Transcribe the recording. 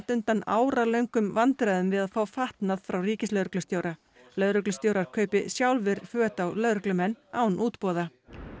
undan áralöngum vandræðum við að fá fatnað frá ríkislögreglustjóra lögreglustjórar kaupi sjálfir föt á lögreglumenn án útboða